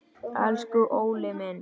Elsku Óli minn.